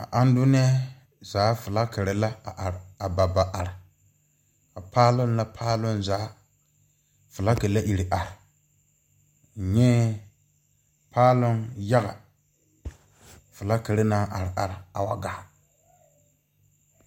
A andunɛɛ zaa flakerre la a are a ba ba are a paaloŋ la paaloŋ zaa flake a ire are nyɛɛ paaloŋ yaga flakerre naŋ are are a wa gaa.